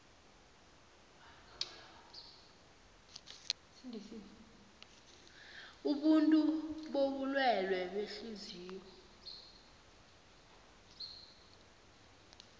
abantu bobulwele behliziyo